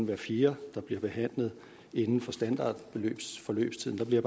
hver fjerde der bliver behandlet inden for standardforløbstiden der bliver